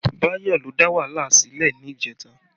Bayo ló dà wàhálà sílẹ̀ ni ìjẹta